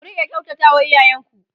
ku Rika kyautata wa iyayen ku